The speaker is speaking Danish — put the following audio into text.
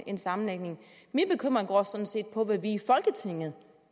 en sammenlægning min bekymring går sådan set på hvad vi i folketinget